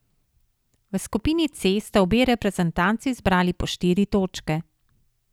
V skupini C sta obe reprezentanci zbrali po štiri točke.